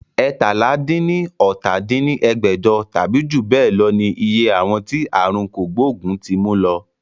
eétalá-dín-ní-ọ́ta dín ní ẹgbẹ́jọ tàbí jù bẹ lọ ní iye àwọn tí aàrùn kògbógùn ti mú lọ